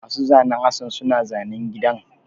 Masu zanen Hassan suna zanen gidan